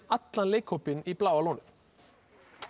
allan leikhópinn í Bláa lónið